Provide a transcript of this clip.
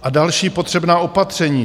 A další potřebná opatření.